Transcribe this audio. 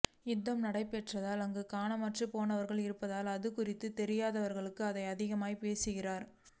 யுத்த நடைபெற்றால் அங்கு காணமற்போனேர்கள் இருப்பார்கள் இது குறித்து தெரியாதவர்களே இதை அதிகம் பேசுகின்றனர்